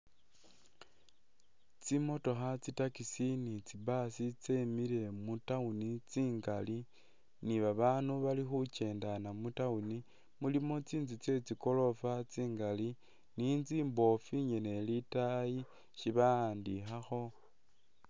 Tsi'motokha, tsitaxi ni tsibus tsemile mu town tsingali, ni babaandu bali khukyendana mu town, mulimo tsinzu tsetsi goorofa tsingali ni inzu ingene imbofu ili lwataayi ishi bawandikhakho.